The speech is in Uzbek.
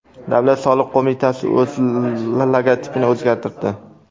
Davlat soliq qo‘mitasi o‘z logotipini o‘zgartirdi .